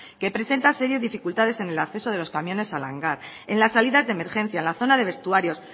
que presenta serias dificultades en el acceso de los camiones al hangar en las salidas de emergencia en la zona de vestuario